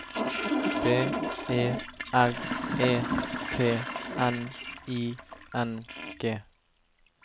B E R E T N I N G